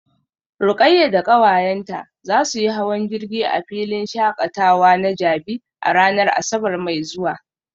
Rukayyah da kawayenta za su yi hawan jirgi a filin shakatawa na jabi a ranar asabar mai zuwa